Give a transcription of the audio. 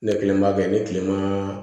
Ne kelen b'a kɛ ni kilema